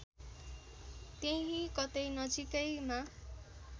त्यहीँ कतै नजिकैमा